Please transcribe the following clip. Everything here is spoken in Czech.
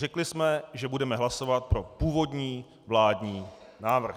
Řekli jsme, že budeme hlasovat pro původní vládní návrh.